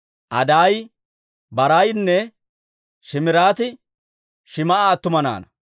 Adaayi, Baraayinne Shiimiraati Shim"a attuma naanaa.